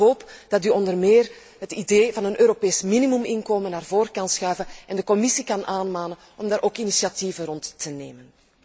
Ik hoop dat u onder meer het idee van een Europees minimuminkomen naar voor kan schuiven en de Commissie kan aanmanen om op dat punt initiatieven te nemen.